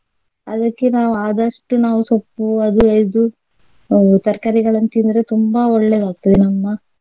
ಅದಕ್ಕೆ ನಾವು ಆದಷ್ಟು ನಾವು ಸೊಪ್ಪು ಅದು ಇದು ಅಹ್ ತರಕಾರಿಗಳನ್ನು ತಿಂದ್ರೆ ತುಂಬಾ ಒಳ್ಳೆದಾಗ್ತದೆ ನಮ್ಮ.